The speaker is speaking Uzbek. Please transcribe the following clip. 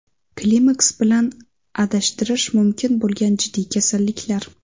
Klimaks bilan adashtirish mumkin bo‘lgan jiddiy kasalliklar.